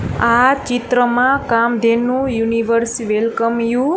આ ચિત્રમાં Kamdhenu universe welcome you --